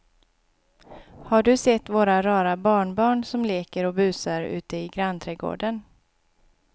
Har du sett våra rara barnbarn som leker och busar ute i grannträdgården!